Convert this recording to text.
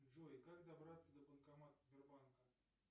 джой как добраться до банкомата сбербанка